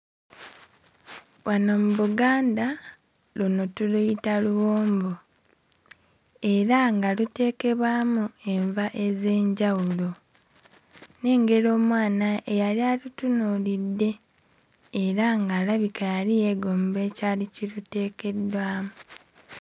Wano mu Buganda, luno tuluyita luwombo era nga luteekebwamu enva ez'enjawulo. Nnengera omwana eyali alutunuulidde era nga alabika yali yeegomba ekyali kiruteekeddwamu.